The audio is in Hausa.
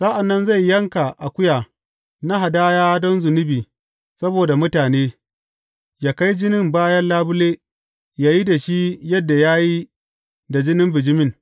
Sa’an nan zai yanka akuya na hadaya don zunubi saboda mutane, yă kai jinin bayan labule, yă yi da shi yadda ya yi da jinin bijimin.